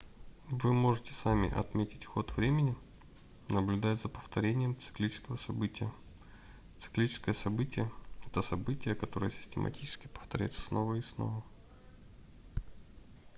вы можете сами отметить ход времени наблюдая за повторением циклического события циклическое событие это событие которое систематически повторяется снова и снова